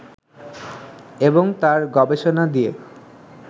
এবং তাঁর গবেষণা দিয়ে